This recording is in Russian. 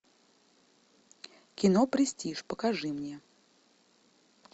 кино престиж покажи мне